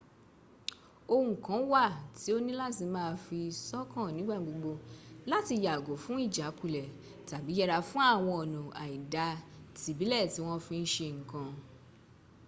ohùn kan wà tí o ní láti má a fi sọ́kàn nígbàgbogbo láti yàgò fún ìjákulẹ̀ tàbí yẹra fún àwọn ọ̀nà àìda tìbílẹ̀ ti wọ́n fi ń se nǹkan